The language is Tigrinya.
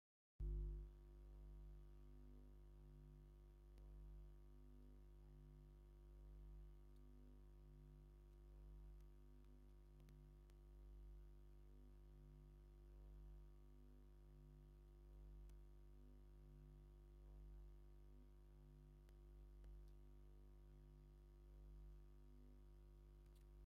መንደቕ እምኒ ዘለዎን ብኸፊል ዝርአ መስቀል እምኒን ዘለዎ ከባቢ ኣሎ። እዚ ድማ ዓበይቲ ናይ ቤተ ክርስቲያን በዓላት ከም በዓል ፋሲካ (ትንሳኤ) ወይ ልደት (ልደት) የመልክት። ነዚ ስነ-ስርዓት ምስ ረኣኻ እንታይ ዓይነት መንፈሳውን ሰላማውን ስምዒት ይስምዓካ?